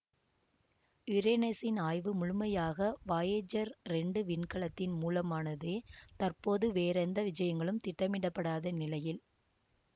யுரேனஸ்சின் ஆய்வு முழுமையாக வாயேஜர் இரண்டு விண்கலத்தின் மூலமானதேதற்போது வேறெந்த விஜயங்களும் திட்டமிடப்படாத நிலையில்